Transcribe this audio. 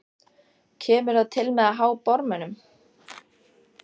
Kemur það til með að há bormönnum?